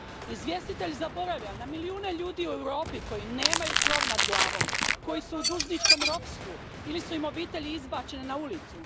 Izvjestitelj zaboravlja na milijune ljudi u Europi koji nemaju krov nad glavom, koji su u dužničkom ropstvu ili su im obitelji izbačene na ulicu.